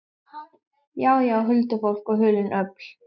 Já, já, huldufólk og hulin öfl.